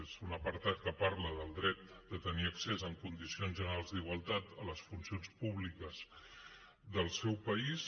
és un apartat que parla del dret de tenir accés en condicions generals d’igualtat a les funcions públiques del seu país